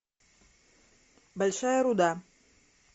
большая руда